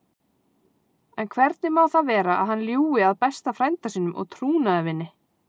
En hvernig má það vera að hann ljúgi að besta frænda sínum og trúnaðarvini?